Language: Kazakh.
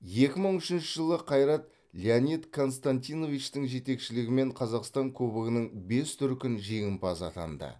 екі мың үшінші жылы қайрат леонид константиновичтің жетекшілігімен қазақстан кубогының бес дүркін жеңімпазы атанды